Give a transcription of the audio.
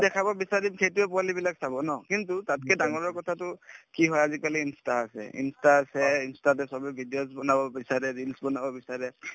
দেখাব বিচাৰিম সেইটোয়ে পোৱালিবিলাক চাব ন কিন্তু তাতকে ডাঙৰৰ কথাটো কি হয় আজিকালি insta আছে insta আছে insta তে চবে videos বনাব বিচাৰে reels বনাব বিচাৰে